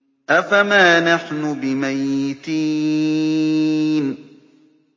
أَفَمَا نَحْنُ بِمَيِّتِينَ